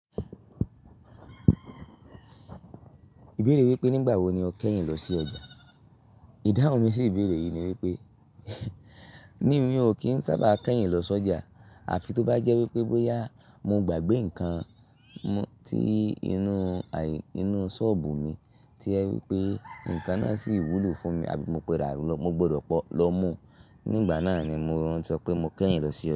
Ìbéèrè wípé nígbà wo ni o kẹ́yìn lọ sí ọjà? Ìdáhùn mi sì Ìbéèrè yìí ni wípé, níì, mi ò kí ń sábà kẹ́yìn lọ sójà, àfi tó bá jẹ́ wípé bóyá mo gbàgbé ǹkan tí inú, aí, inú sọ́ọ̀bù mi tí ẹ wípé ǹkan náà sì wúlò fún mi àbí mo pada ló, mo gbọdọ̀ pọ́ lọ mú. Nígbà náà ni mò ń sọ pé mo kẹ́yìn lọ sí ọjà.